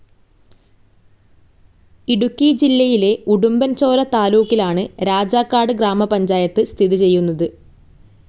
ഇടുക്കി ജില്ലയിലെ ഉടുമ്പൻചോല താലൂക്കിലാണ് രാജാക്കാട് ഗ്രാമപഞ്ചായത്ത് സ്ഥിതി ചെയ്യുന്നത്.